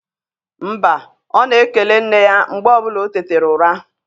Mba, ọ na-ekele nne ya mgbe ọbụla o tetara ụra.